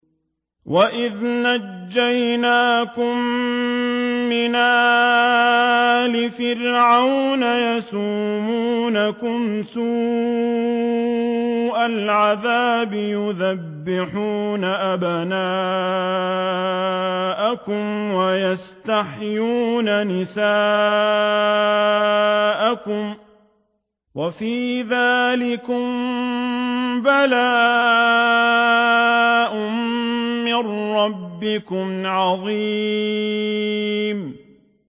وَإِذْ نَجَّيْنَاكُم مِّنْ آلِ فِرْعَوْنَ يَسُومُونَكُمْ سُوءَ الْعَذَابِ يُذَبِّحُونَ أَبْنَاءَكُمْ وَيَسْتَحْيُونَ نِسَاءَكُمْ ۚ وَفِي ذَٰلِكُم بَلَاءٌ مِّن رَّبِّكُمْ عَظِيمٌ